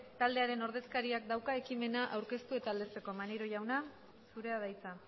taldearen ordezkariak dauka ekimena aurkeztu eta aldezteko maneiro jauna zurea da hitza